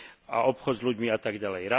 a obchod s ľuďmi a tak ďalej.